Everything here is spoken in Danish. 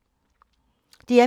DR P3